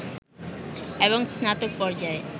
এবং স্নাতক পর্যায়ে